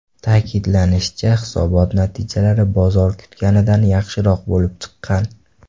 Ta’kidlanishicha, hisobot natijalari bozor kutganidan yaxshiroq bo‘lib chiqqan.